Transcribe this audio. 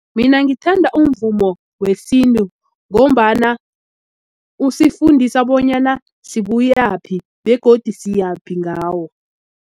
Mina ngithanda umvumo wesintu ngombana usifundisa bonyana sibuyaphi begodu siyaphi ngawo.